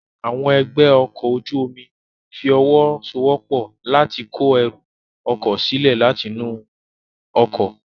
Àwọn ẹgbẹ́ ọkọ̀ ojú omi fi ọwọ́ so wọ́pọ̀ láti kó ẹrù ọkọ̀ sílẹ̀ láti inú ọkọ̀